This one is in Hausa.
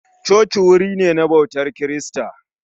Coci wuri ne na ɓautar kirista